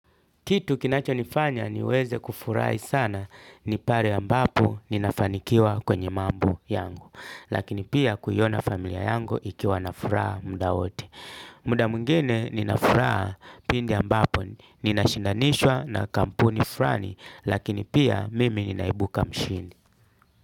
Kitu kinacho nifanya niweze kufurai sana ni pale ambapo ninafanikiwa kwenye mambo yangu. Lakini pia kuiona familia yangu ikiwa na furaha muda wote. Muda mwingine nina furaha pindi ambapo nina shindanishwa na kampuni furani lakini pia mimi ninaibuka mshindi.